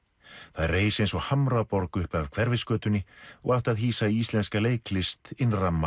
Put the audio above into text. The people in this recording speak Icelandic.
það reis eins og Hamraborg upp af Hverfisgötunni og átti að hýsa íslenska leiklist